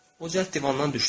O cəld divandan düşdü.